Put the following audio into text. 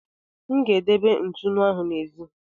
M ga-edebe ntụnụ ahụ n'èzí.